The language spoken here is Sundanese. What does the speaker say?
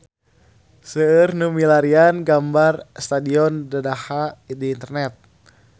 Seueur nu milarian gambar Stadion Dadaha di internet